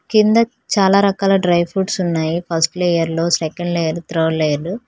కింద చాలా రకాల డ్రై ఫ్రూట్స్ ఉన్నాయి ఫస్ట్ లేయర్ లో సెంకండ్ లేయర్ త్రార్డ్ లేయర్ లో.